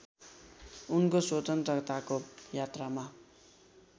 उनको स्वतन्त्रताको यात्रामा